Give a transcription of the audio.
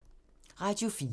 Radio 4